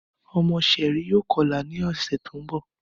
Ọmọ Sherry yoo kọla ni ọsẹ ti n bọ.